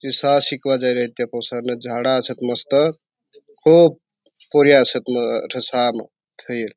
शाळा शिकवा पाइ रिया झाड़ा असा मस्त खूब पोरी असत म अठ शाळा म थई --